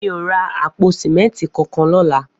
Mi ó rà àpó sìmẹntí kánkán lọ̀lá